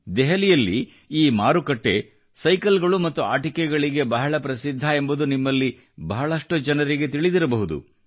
ದೆಹಲಿಯಲ್ಲಿ ಈ ಮಾರುಕಟ್ಟೆ ಸೈಕಲ್ ಗಳು ಮತ್ತು ಆಟಿಕೆಗಳಿಗೆ ಬಹಳ ಪ್ರಸಿದ್ಧ ಎಂಬುದು ನಿಮ್ಮಲ್ಲಿ ಬಹಳಷ್ಟು ಜನರಿಗೆ ತಿಳಿದಿರಬಹುದು